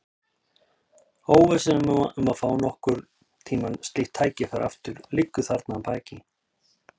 Óvissan um að fá nokkurn tíma slíkt tækifæri aftur liggur þarna að baki.